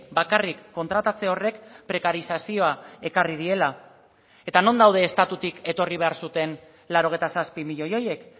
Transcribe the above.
bakarrik kontratatze horrek prekarizazioa ekarri diela eta non daude estatutik etorri behar zuten laurogeita zazpi milioi horiek